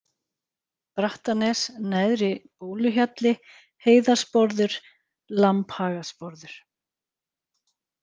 Brattanes, Neðri-Bóluhjalli, Heiðarsporður, Lambhagasporður